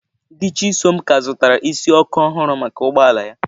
Di Chisom ka zụtara isi ọkụ ọhụrụ maka ụgbọ ala ya.